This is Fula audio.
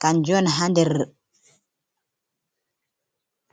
kanjo on ha nɗer.